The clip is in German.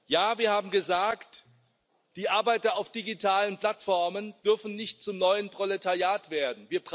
Ja, wir haben gesagt Die Arbeiter auf digitalen Plattformen dürfen nicht zum neuen Proletariat werden.